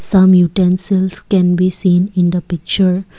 some utensils can be seen in the picture.